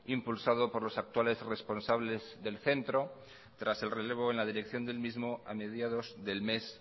impulsado por los actuales responsables del centro tras el relevo en la dirección del mismo a mediados del mes